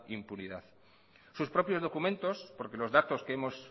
impunidad sus propios documentos porque los datos que hemos